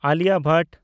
Alia Bhatt